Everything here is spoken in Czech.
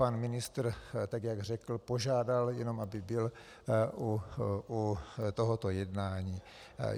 Pan ministr, tak jak řekl, požádal jenom, aby byl u tohoto jednání.